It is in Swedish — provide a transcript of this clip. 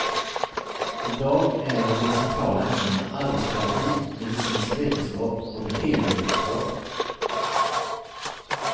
I dag är de centrala ämnena arbetsterapi, medicinsk vetenskap och beteendevetenskap.